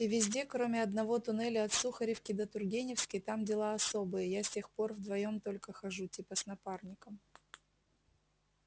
и везде кроме одного туннеля от сухаревки до тургеневской там дела особые я с тех пор вдвоём только хожу типа с напарником